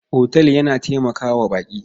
Otal yana taimaka wa baƙi.